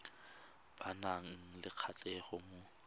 ba nang le kgatlhego mo